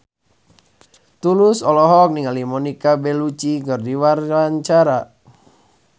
Tulus olohok ningali Monica Belluci keur diwawancara